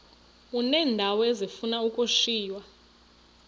uneendawo ezifuna ukushiywa